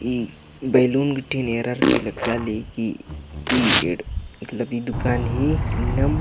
ई balloon गुट्टी नेरर के लग्गा ली कि ई एढ़ इक लबी दुकान ही इन्नम --